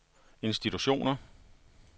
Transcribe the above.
institutioner